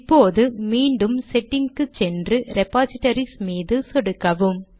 இப்போது மீண்டும் செட்டிங்க் க்கு போய் ரெபாசிடரிஸ் மீது சொடுக்கவும்